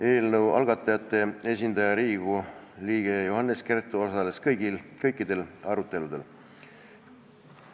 Eelnõu algatajate esindaja Riigikogu liige Johannes Kert osales kõikidel aruteludel.